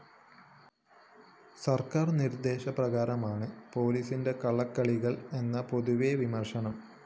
സര്‍ക്കാര്‍ നിര്‍ദ്ദേശ പ്രകാരണമാണ് പോലീസിന്റെ കള്ളക്കളികള്‍ എന്നാണ് പൊതുവേ വിമര്‍ശനം